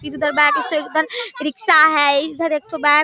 फिर इधर रिक्शा है इधर एत्ठो बैग --